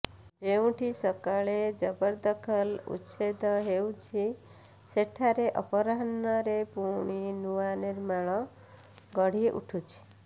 ଯେଉଁଠି ସକାଳେ ଜବରଦଖଲ ଉଚ୍ଛେଦ ହେଉଛି ସେଠାରେ ଅପରାହ୍ଣରେ ପୁଣି ନୂଆ ନିର୍ମାଣ ଗଢ଼ି ଉଠୁଛି